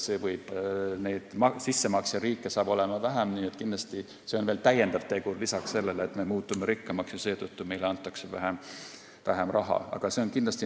Sissemaksjariike on edaspidi vähem ja see on veel üks tegur peale selle, et me muutume rikkamaks ja meile antakse seetõttu vähem raha.